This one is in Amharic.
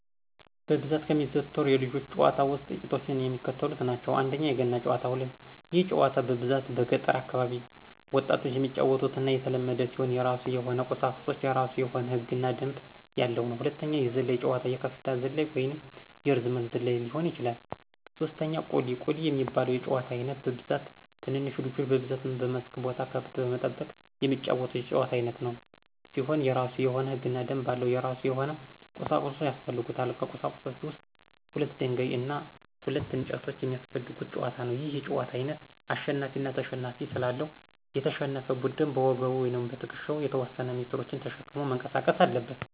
በብዛት ከሚዘወተሩት የልጆች ጨዋታ ውስጥ ጥቂቶቹ የሚከተሉት ናቸው፦ ፩) የገና ጨዋታ፦ ይህ ጨዋታ በብዛት በገጠር አካባቢ ወጣቶች የሚጫወቱትና የተለመደ ሲሆን የራሱ የሆነ ቁሳቁሶች፤ የራሱ የሆነ ህግ እና ደንብ ያለው ነው። ፪) የዝላይ ጨዋታ፦ የከፍታ ዝላይ ወይንም የርዝመት ዝላይ ሊሆን ይችላል። ፫) ቁሊ፦ ቁሊ የሚባለው የጨዋታ አይነት በብዛት ትንንሽ ልጆች በብዛት በመስክ ቦታ ከብት በመጠበቅ የሚጫወቱት የጨዋታ አይነት ሲሆን የራሱ የሆነ ህግና ደንብ አለው። የራሱ የሆነ ቁሳቁሶች ያሰፈልጉታል። ከቁሳቁሶች ውስጥ ሁለት ደንጋይ እና ሁለት እንጨቶች የሚያሰፈልጉት ጨዋታ ነው። ይህ የጨዋታ አይነት አሸናፊ አና ተሸናፊ ስላለው፤ የተሸነፈ ቡድን በወገቡ ወይም በትክሻው የተወሰነ ሜትሮችን ተሸክሞ መንቀሳቀስ አለበት።